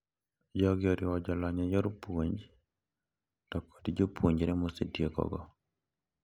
Jogi oriwo jolony e yor puonj to kod jopunjre mosetiekogo.